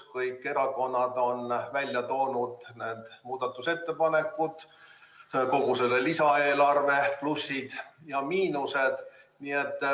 Kõik erakonnad on välja toonud need muudatusettepanekud, kogu selle lisaeelarve plussid ja miinused.